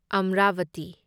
Amravati